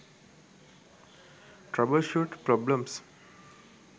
troubleshoot problems